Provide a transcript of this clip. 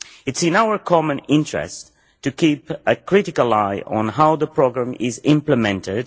It is in our common interest to keep a critical eye on how the programme is implemented.